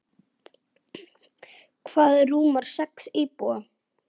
Það rúmar sex íbúa.